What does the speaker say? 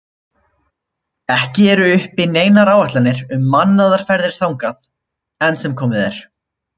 Ekki eru uppi neinar áætlanir um mannaðar ferðir þangað enn sem komið er.